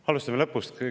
Alustame lõpust.